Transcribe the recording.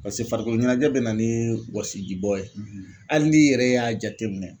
Paseke farikolo ɲɛnajɛ bɛ na ni wɔsijibɔ ye hali n'i yɛrɛ y'a jateminɛ